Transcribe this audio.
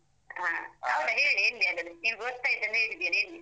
ಆ ಹೌದ್ ಹೇಳ್ ಎಲ್ಲಿ ಅದು ನಿನ್ಗ್ ಗೊತ್ತಾಯ್ತ್ ಅಂತ ಹೇಳಿದ್ಯಲ್ಲ ಎಲ್ಲಿ?